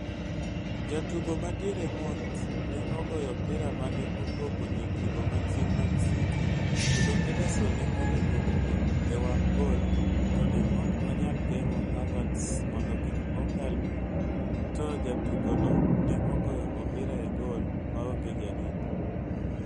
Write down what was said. Jatugo madiere Mount ne ogoyo opira mane opogo jotugo machien mag City kendo Ederson ne oringo owuok e wang' goal to ne ok onyal geng'o Havertz mondo kik okal to jatugo no ne ogoyo opira e gol maonge jarit.